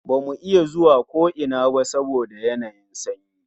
Ba mu iya zuwa ko ina ba saboda yanayin sanyi